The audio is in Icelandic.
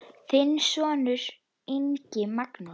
Þinn sonur, Ingi Magnús.